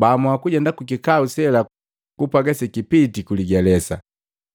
Baamua kujenda kukikau sela kupwaga sekipiti ku ligelesa.